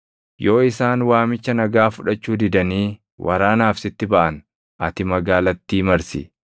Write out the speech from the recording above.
Yoo isaan waamicha nagaa fudhachuu didanii waraanaaf sitti baʼan ati magaalattii marsi.